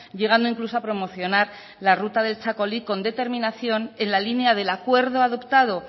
llegando incluso a promocionar la ruta del txakoli con determinación en la línea del acuerdo adoptado